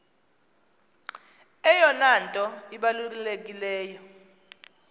eyona nto ibalulekileyo